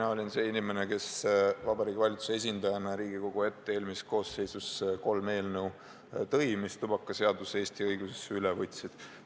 Mina olin see inimene, kes Vabariigi Valitsuse esindajana tõi Riigikogu ette eelmises koosseisus kolm eelnõu, mis tubakadirektiivi Eesti õigusesse üle võtsid.